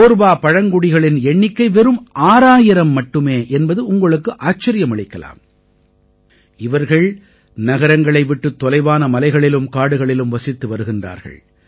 கோர்வா பழங்குடிகளின் எண்ணிக்கை வெறும் 6000 மட்டுமே என்பது உங்களுக்கு ஆச்சரியமளிக்கலாம் இவர்கள் நகரங்களை விட்டுத் தொலைவான மலைகளிலும் காடுகளிலும் வசித்து வருகிறார்கள்